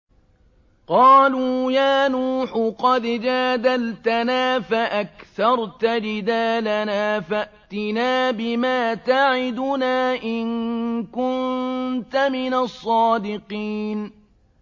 قَالُوا يَا نُوحُ قَدْ جَادَلْتَنَا فَأَكْثَرْتَ جِدَالَنَا فَأْتِنَا بِمَا تَعِدُنَا إِن كُنتَ مِنَ الصَّادِقِينَ